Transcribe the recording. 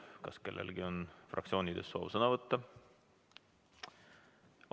Kas kellelgi on fraktsiooni nimel soov sõna võtta?